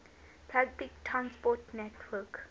public transport network